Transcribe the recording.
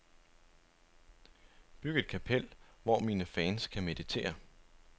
Byg et kapel, hvor mine fans kan meditere.